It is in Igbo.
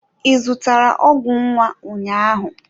Ị zụtara ọgwụ nwa ụnyahụ?